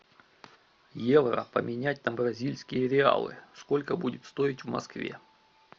евро поменять на бразильские реалы сколько будет стоить в москве